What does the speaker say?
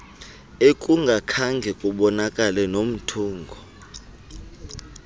ekungakhange kubonakale nomthungo